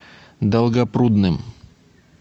долгопрудным